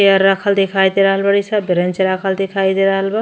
Chair राखल दिखाई दे रहल बाड़ी स। बरेंच रखले दिखाई दे रहल बा।